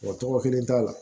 Wa tɔgɔ kelen t'a la